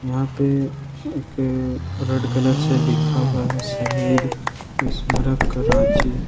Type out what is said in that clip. यहां पे एक रेड कलर से लिखा हुआ है शहीद स्मारक रांची ।